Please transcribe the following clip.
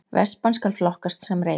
Vespan skal flokkast sem reiðhjól